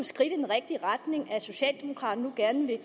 skridt i den rigtige retning at socialdemokraterne gerne vil